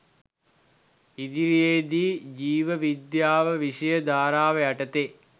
ඉදිරියේදී ජීව විද්‍යාව විෂය ධාරාව යටතේ